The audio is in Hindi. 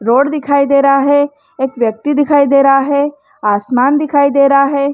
रोड दिखाई दे रहा है एक व्यक्ति दिखाई दे रहा है आसमान दिखाई दे रहा है।